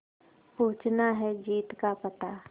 पूछना है जीत का पता